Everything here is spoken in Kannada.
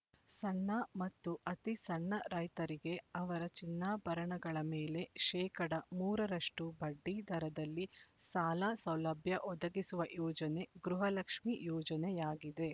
ಸಣ್ಣ ಮತ್ತು ಅತಿಸಣ್ಣ ರೈತರಿಗೆ ಅವರ ಚಿನ್ನಾಭರಣಗಳ ಮೇಲೆ ಶೇಕಡಾ ಮೂರ ರಷ್ಟು ಬಡ್ಡಿ ದರದಲ್ಲಿ ಸಾಲ ಸೌಲಭ್ಯ ಒದಗಿಸುವ ಯೋಜನೆ ಗೃಹಲಕ್ಷ್ಮಿ ಯೋಜನೆಯಾಗಿದೆ